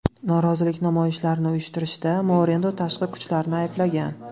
Norozilik namoyishlarini uyushtirishda Moreno tashqi kuchlarni ayblagan.